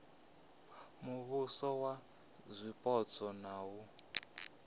muvhuso wa zwipotso na u